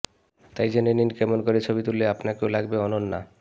তাই জেনে নিন কেমন করে ছবি তুললে আপনাকেও লাগবে অনন্যা